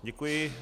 Děkuji.